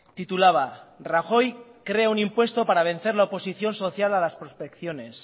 titulaba rajoy crea un impuesto para vencer la oposición social a las prospecciones